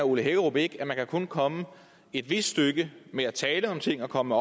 ole hækkerup ikke at man kun kan komme et vist stykke ved at tale om ting og komme